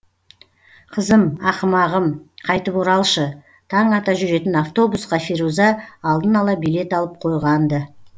қызым ақымағым қайтып оралшы таң ата жүретін автобусқа феруза алдын ала билет алып қойған ды